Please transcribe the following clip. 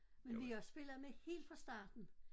Men vi har spillet med helt fra starten